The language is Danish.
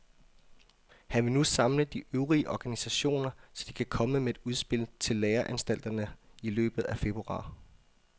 Han vil nu samle de øvrige organisationer, så de kan komme med et udspil til læreanstalterne i løbet af februar.